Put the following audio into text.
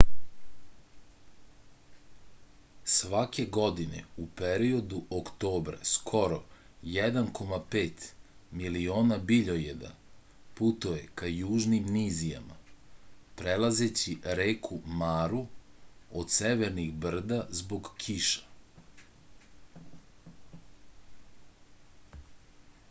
svake godine u periodu oktobra skoro 1,5 miliona biljojeda putuje ka južnim nizijama prelazeći reku maru od severnih brda zbog kiša